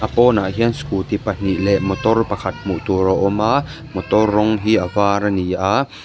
pawnah hian scooty pahnih leh motor pakhat hmuh tur a awm a motor rawng hi a var a ni a--